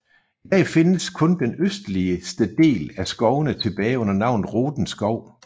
I dag findes kun den østligste del af skovene tilbage under navnet Roden Skov